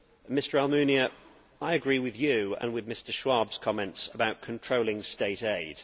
Mr Almunia, I agree with you and with Mr Schwab's comments about controlling state aid.